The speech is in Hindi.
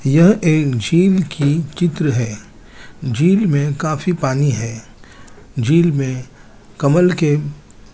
यह एक झील की चित्र है झील में काफी पानी है झील में कमल के --